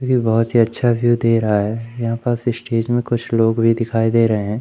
ये बोहोत ही अच्छा व्यू दे रहा है यहां पास स्टेज में कुछ लोग भी दिखाई दे रहे हैं।